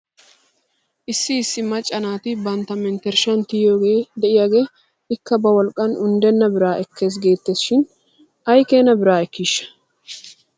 Issi issi macca naati bantta mentershshan tiyiyoogee de'iyaagee ikka ba wolqqan unddenna biraa ekkes geettes shin aykeena biraa ekkiishsha ?